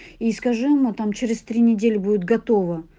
искажено там через три недели будет готово